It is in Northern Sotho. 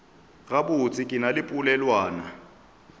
gabotse ke na le polelwana